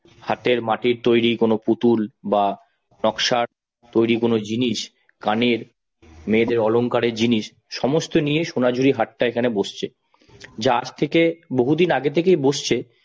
হাটে মাটির তৈরি কোন পুতুল বা নকশার তৈরি কোন জিনিস কানের, মেয়েদের অলংকারের জিনিস সমস্ত নিয়ে সোনাঝুরি হাট টা এখানে বসছে, যা আজ থেকে বহুদিন আগে থেকেই বসছে